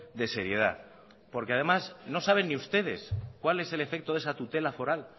de seriedad además no saben ni ustedes cuál es el efecto de esa tutela foral